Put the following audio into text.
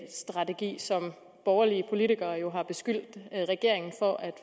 strategi som borgerlige politikere jo har beskyldt regeringen for at